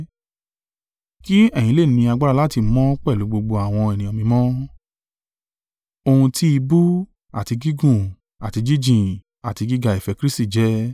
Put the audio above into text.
kí ẹ̀yin lè ní agbára láti mọ̀ pẹ̀lú gbogbo àwọn ènìyàn mímọ́, ohun tí ìbú, àti gígùn, àti jíjìn, àti gíga ìfẹ́ Kristi jẹ́.